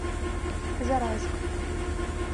зарайск